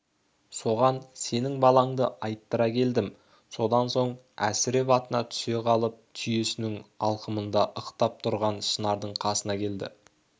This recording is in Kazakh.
соған сенің балаңды айттыра келдім содан соң әсіреп атынан түсе қалып түйесінің алқымында ықтап тұрған шынардың қасына келді